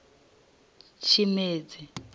tshimedzi